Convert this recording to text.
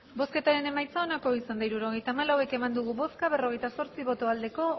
hirurogeita hamalau eman dugu bozka berrogeita zortzi bai